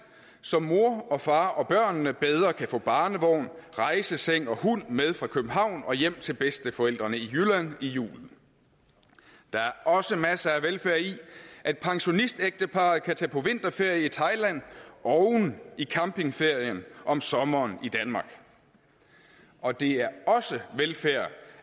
så mor og far og børnene bedre kan få barnevognen rejsesengen og hunden med fra københavn og hjem til bedsteforældrene i jylland i julen der er også masser af velfærd i at pensionistægteparret kan tage på vinterferie i thailand oven i campingferien om sommeren i danmark og det er også velfærd